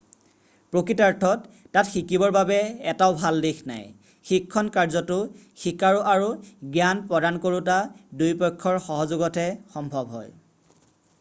প্ৰকৃতাৰ্থত তাত শিকিবৰ বাবে এটাও ভাল দিশ নাই শিক্ষণ কাৰ্যটো শিকাৰু আৰু জ্ঞান প্ৰদানকৰোতা দুয়োপক্ষৰ সহযোগতহে সম্ভৱ হয়